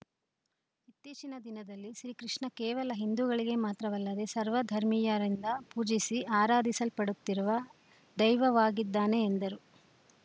ಇತ್ತೀಚಿನ ದಿನದಲ್ಲಿ ಶ್ರೀಕೃಷ್ಣ ಕೇವಲ ಹಿಂದೂಗಳಿಗೆ ಮಾತ್ರವಲ್ಲದೆ ಸರ್ವ ಧರ್ಮೀಯರಿಂದ ಪೂಜಿಸಿ ಆರಾಧಿಸಲ್ಪಡುತ್ತಿರುವ ದೈವವಾಗಿದ್ದಾನೆ ಎಂದರು